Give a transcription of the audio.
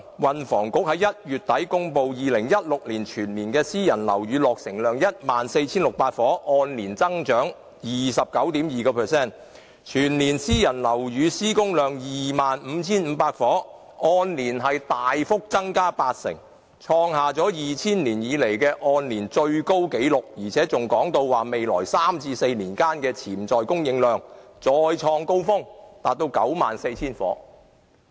運輸及房屋局在1月底公布2016年全年私人樓宇落成量是 14,600 伙，按年增長 29.2%， 全年私人樓宇施工量 25,500 伙，按年大幅增加8成，創下了2000年以來的按年最高紀錄，而且還說未來3至4年間的潛在供應量會再創高峰，達到 94,000 伙。